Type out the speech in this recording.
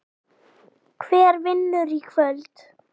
Hver vinnur í kvöld?